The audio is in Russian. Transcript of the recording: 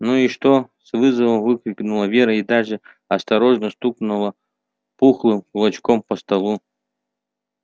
ну и что с вызовом выкрикнула вера и даже осторожно стукнула пухлым кулачком по столу